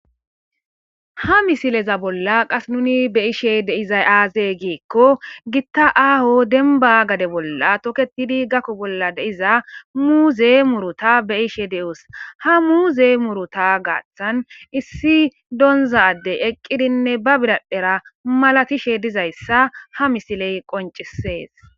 ha misileza bolla qas nuni beyishe deizay aaze giikko gitta aaho demba gade bolla toketidi gakko bolla deiza muuze muruta beyishe de7us ha muuze muruta gaaththan issi donzadey eqqidinne ba biradhera malatishe dizayssa ha misiley qoncisees